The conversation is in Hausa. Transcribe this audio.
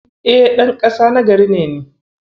E, ɗan ƙasa na gari ne ni.